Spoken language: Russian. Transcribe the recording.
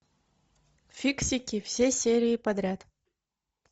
фиксики все серии подряд